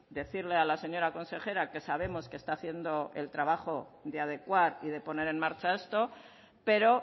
decirle a la señora consejera que sabemos que está haciendo el trabajo de adecuar y de poner en marcha esto pero